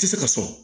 Tɛ se ka sɔn